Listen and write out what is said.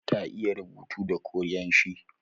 Ta iya rubuta da korean shi